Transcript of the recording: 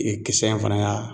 kisɛ in fana ya.